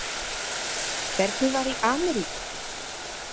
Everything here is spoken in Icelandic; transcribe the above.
Hvernig var í Ameríku?